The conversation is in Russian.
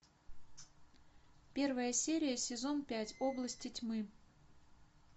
первая серия сезон пять области тьмы